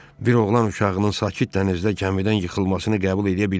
Bir oğlan uşağının sakit dənizdə gəmidən yıxılmasını qəbul eləyə bilmərik.